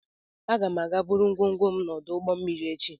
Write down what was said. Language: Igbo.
Aga m aga buru ngwongwo m n'ọdụ ụgbọ mmiri echi